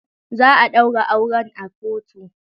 Za a daura auren a kotu.